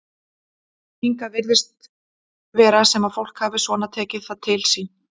Hingað virðist vera sem að fólk hafi svona tekið það til sín?